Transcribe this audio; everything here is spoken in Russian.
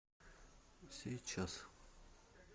сейчас